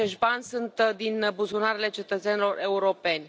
Toți acești bani sunt din buzunarele cetățenilor europeni.